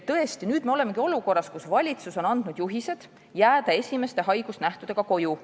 Tõesti, nüüd olemegi olukorras, kus valitsus on andnud juhised jääda esimeste haigusnähtudega koju.